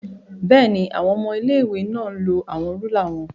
Bẹẹni, awọn ọmọ ilé-ìwé náà lo awọn rúlà wọn